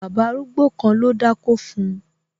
Bàbá arúgbó kan ló dákó fun